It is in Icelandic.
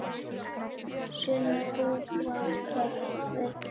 Sumir búa kröpp við kjör.